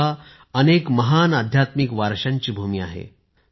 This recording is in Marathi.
गोवा अनेक महान आध्यात्मिक वारसांची भूमी आहे